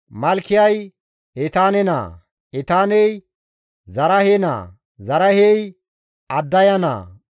Malkiyay Etaane naa; Etaaney Zaraahe naa; Zaraahey Addaya naa;